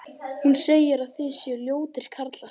Hún segir að þið séuð ljótir karlar